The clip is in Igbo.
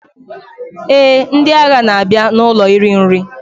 Eh, ndị agha na-abịa n'ụlọ iri nri.